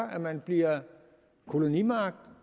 at man bliver kolonimagt